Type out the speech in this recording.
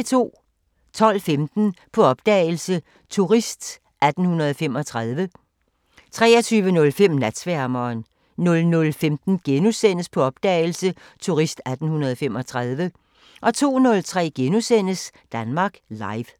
12:15: På opdagelse – Turist 1835 23:03: Natsværmeren 00:15: På opdagelse – Turist 1835 * 02:03: Danmark Live *